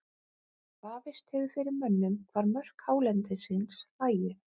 Vafist hefur fyrir mönnum hvar mörk hálendisins lægju.